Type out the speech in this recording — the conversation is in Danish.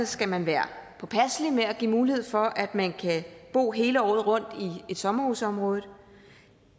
skal man være påpasselig med at give mulighed for at man kan bo hele året rundt i et sommerhusområde